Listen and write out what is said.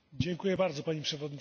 Pani Przewodnicząca!